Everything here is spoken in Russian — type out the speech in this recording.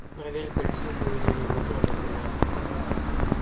проверь кольцевую линию метро например